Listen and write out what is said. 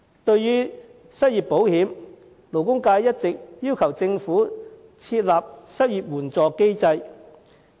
對於失業保險，勞工界一直要求政府設立失業援助機制。